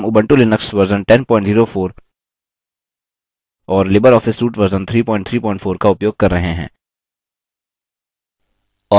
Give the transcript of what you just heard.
यहाँ हम Ubuntu Linux version 1004 और लिबर ऑफिस सूट वर्जन 334 का उपयोग कर रहे हैं